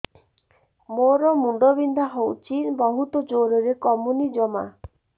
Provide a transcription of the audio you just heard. ମୋର ମୁଣ୍ଡ ବିନ୍ଧା ହଉଛି ବହୁତ ଜୋରରେ କମୁନି ଜମା